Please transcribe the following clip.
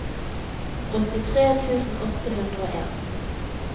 åttitre tusen åtte hundre og en